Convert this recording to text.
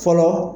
Fɔlɔ